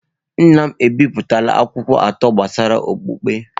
Nna m ebipụtala akwụkwọ atọ gbasara okpukpe.